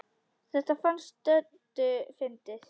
Þetta fannst Döddu fyndið.